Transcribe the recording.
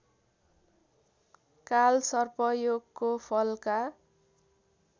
कालसर्पयोगको Falka